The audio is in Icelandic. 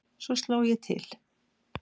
Svo sló ég til.